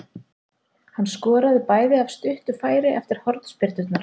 Hann skoraði bæði af stuttu færi eftir hornspyrnur.